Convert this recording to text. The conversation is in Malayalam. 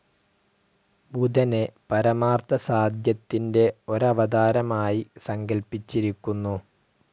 ബുധനെ, പരമാർത്ഥസാധ്യത്തിൻ്റെ ഒരവതാരമായി സങ്കൽപ്പിച്ചിരിക്കുന്നു.